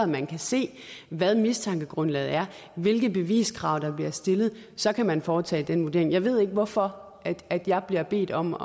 man kan se hvad mistankegrundlaget er hvilke beviskrav der bliver stillet så kan man foretage den vurdering jeg ved ikke hvorfor jeg bliver bedt om